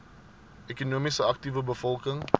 ekonomies aktiewe bevolking